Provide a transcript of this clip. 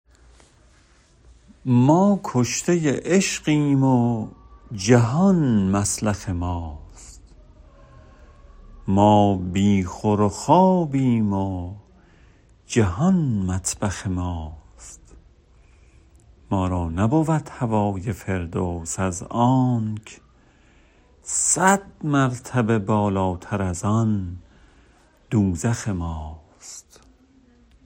ما کشته عشقیم و جهان مسلخ ماست ما بی خور و خوابیم و جهان مطبخ ماست ما را نبود هوای فردوس از آنک صد مرتبه بالاتر از آن دوزخ ماست